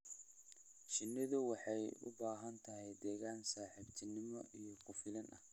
Shinnidu waxay u baahan tahay deegaan saaxiibtinimo iyo ku filan.